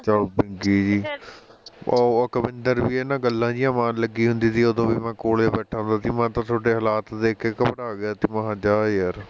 ਬੀਂਗੀ ਜੀ ਉਹ ਅਕਵਿੰਦਰ ਵੀ ਇਹਨੇ ਨਾਲ ਗੱਲਾਂ ਜਿਹਾਂ ਮਾਰਨ ਲੱਗੀ ਹੁੰਦੀ ਸੀ ਉਹਦੋਂ ਵੀ ਮੈਂ ਕੋਲ ਹੀ ਬੈਠਾਂ ਹੁੰਦਾ ਸੀ ਮੈਂ ਤਾਂ ਤੁਹਾਡੇ ਹਲਾਤ ਦੇਖ ਕੇ ਘਬਰਾ ਗਿਆ ਸੀ ਮੈਂ ਕਿਹਾ ਜਾ ਯਾਰ ਬੀਂਗੀ ਜੀ